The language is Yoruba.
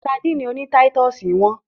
Sadíìnì oní táítọ̀sì hán.